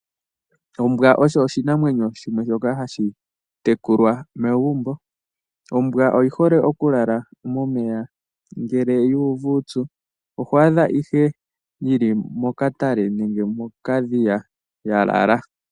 Ombwa osho oshinamwenyo shimwe shoka hashi tekulwa megumbo. Ombwa oyi hole okulala momeya ngele yu uvu uupyu, oho adha ihe yi li mokatale nenge mokadhiya ya lala.